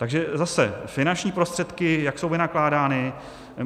Takže zase - finanční prostředky, jak jsou vynakládány.